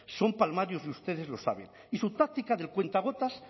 son palmarios y ustedes lo saben y su táctica del cuentagotas